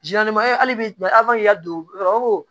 hali bi ala ma k'i ka don